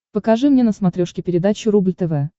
покажи мне на смотрешке передачу рубль тв